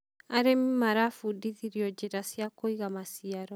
arĩmi marabundithirio njĩra cia kuiga maciaro.